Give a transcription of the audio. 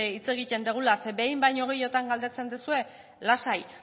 hitz egiten dugula zeren behin baino gehiagotan galdetzen duzue lasai